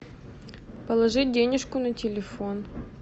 положить денежку на телефон